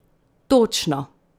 Točno!